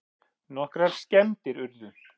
Nokkrar skemmdir urðu